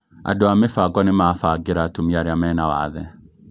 Andũ a mĩbango nĩmabangĩra atumia aria mena wathe